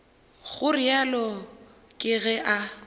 go realo ke ge a